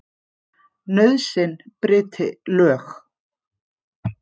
Nauðsyn bryti lög.